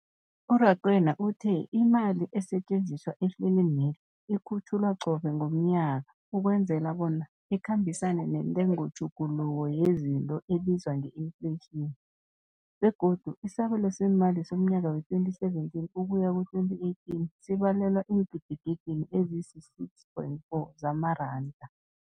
U-Rakwena uthe imali esetjenziswa ehlelweneli ikhutjhulwa qobe ngomnyaka ukwenzela bona ikhambisane nentengotjhuguluko yezinto ebizwa nge-infleyitjhini, begodu isabelo seemali somnyaka we-2017, ukuya ku-2018 sibalelwa eengidigidini ezisi-6.4 zamaranda.